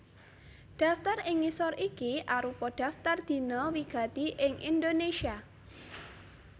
Daftar ing ngisor iki arupa daftar dina wigati ing Indonésia